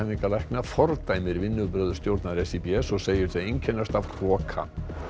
endurhæfingarlækna fordæmir vinnubrögð stjórnar SÍBS og segir þau einkennast af hroka